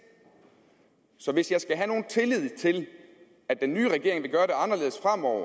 så hvis jeg skal have nogen tillid til at den nye regering vil gøre det anderledes fremover